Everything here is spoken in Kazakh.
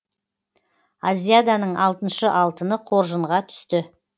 азиаданың алтыншы алтыны қоржынға түсті